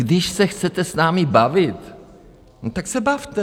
Když se chcete s námi bavit, no tak se bavte.